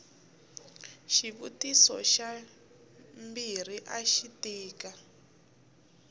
xivutiso xa mbirhi axi tika